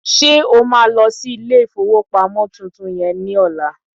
Ṣé o máa lọ sí ilé ìfowópamọ́ tuntun yẹ ní ọla?